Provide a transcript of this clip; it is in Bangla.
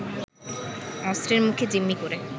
অস্ত্রের মুখে জিম্মি করে